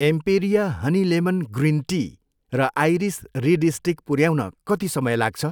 Emperia honey lemon green tea र Iris reed stick पुऱ्याउन कति समय लाग्छ?